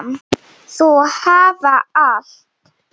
Þau hafa allt.